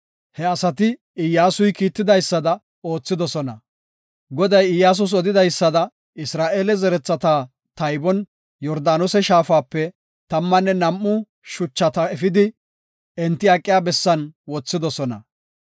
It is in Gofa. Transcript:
He asati Iyyasuy kiitidaysada oothidosona. Goday Iyyasus odidaysada, Isra7eele zerethata taybon Yordaanose shaafape tammanne nam7u shuchata efidi, enti aqiya bessan wothidosona.